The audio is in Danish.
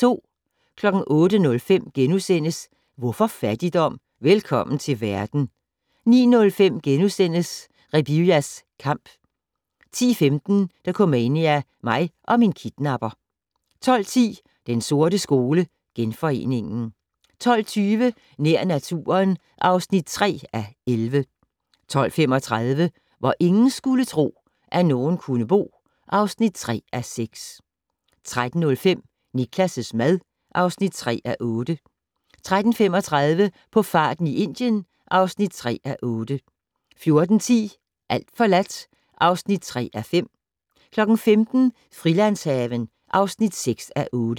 08:05: Hvorfor fattigdom? - Velkommen til verden * 09:05: Rebiya's Kamp * 10:15: Dokumania: Mig og min kidnapper 12:10: Den sorte skole: Genforeningen 12:20: Nær naturen (3:11) 12:35: Hvor ingen skulle tro, at nogen kunne bo (3:6) 13:05: Niklas' mad (3:8) 13:35: På farten i Indien (3:8) 14:10: Alt forladt (3:5) 15:00: Frilandshaven (6:8)